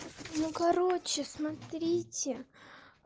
ну короче смотрите